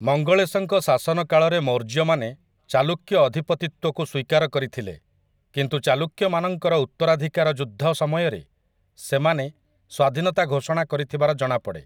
ମଙ୍ଗଳେଶଙ୍କ ଶାସନ କାଳରେ ମୌର୍ଯ୍ୟମାନେ ଚାଲୁକ୍ୟ ଅଧିପତିତ୍ୱକୁ ସ୍ୱୀକାର କରିଥିଲେ, କିନ୍ତୁ ଚାଲୁକ୍ୟମାନଙ୍କର ଉତ୍ତରାଧିକାର ଯୁଦ୍ଧ ସମୟରେ ସେମାନେ ସ୍ୱାଧୀନତା ଘୋଷଣା କରିଥିବାର ଜଣାପଡ଼େ ।